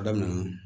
A daminɛ